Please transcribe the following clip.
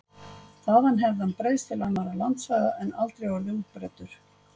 Þaðan hefði hann breiðst til annarra landsvæða en aldrei orðið útbreiddur.